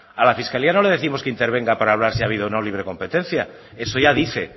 a la fiscalía no le décimos que intervenga para hablar si ha habido o no libre competencia eso ya dice